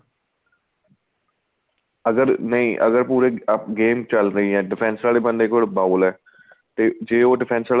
ਅਗਰ ਨਹੀਂ ਅਗਰ ਪੂਰੇ game ਚੱਲ ਰਹੀ ਏ defense ਵਾਲੇ ਬੰਦੇ ਕੋਲ ball ਏ ਤੇ ਜੇ ਉਹ defense ਵਾਲਾ